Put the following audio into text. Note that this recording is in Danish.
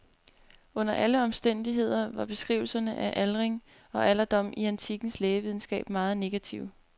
Under alle omstændigheder var beskrivelserne af aldring og alderdom i antikkens lægevidenskab meget negative.